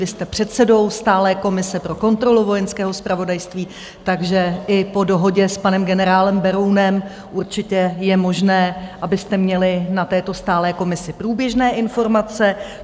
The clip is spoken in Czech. Vy jste předsedou stálé komise pro kontrolu Vojenského zpravodajství, takže i po dohodě s panem generálem Berounem určitě je možné, abyste měli na této stálé komisi průběžné informace.